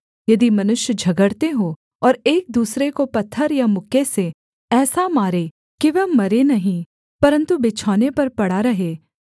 यदि मनुष्य झगड़ते हों और एक दूसरे को पत्थर या मुक्के से ऐसा मारे कि वह मरे नहीं परन्तु बिछौने पर पड़ा रहे